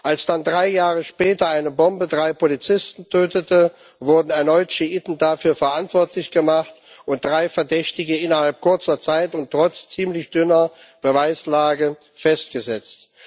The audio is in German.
Als dann drei Jahre später eine Bombe drei Polizisten tötete, wurden erneut Schiiten dafür verantwortlich gemacht und drei Verdächtige innerhalb kurzer Zeit und trotz ziemlich dünner Beweislage festgesetzt.